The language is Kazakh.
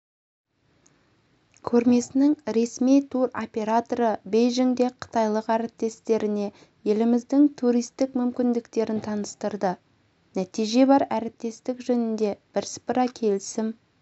көрмесінің ресми туроператоры бейжіңде қытайлық әріптестеріне еліміздің туристік мүмкіндіктерін таныстырды нәтиже бар әріптестік жөнінде бірсыпыра келісім